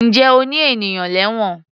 Ǹjẹ́ o ní ènìyàn lẹ́wọ̀n?